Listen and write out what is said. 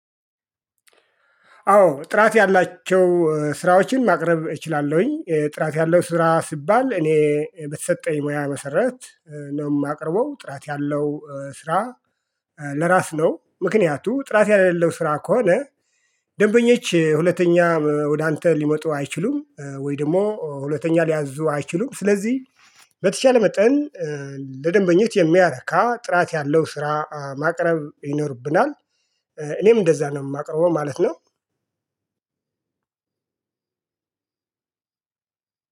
አዎ ጥራት ያላቸው ስራዎችን ማቅረብ እችላለሁኝ ጥራት ያለው ስራ ሲባል እኔ በተሰጠኝ ሙያ መሰረት ነው የማቅርበው ጥራት ያለው ስራ። ለራስ ነው ምክንያቱ ጥራት የሌለው ስራ ከሆነ ደንበኞች ሁለተኛ ወደ አንተ ሊመጡ አይችሉም። ወይ ደግሞ ሁለተኛ ሊያዙ አይችሉም። ስለዚህ በተቻለ መጠን ለደንበኛው የሚያረካ ጥራት ያለው ስራ ማቅረብ ይኖርብናል። እኔም እንደዛ ነው የማቀርበው ማለት ነው።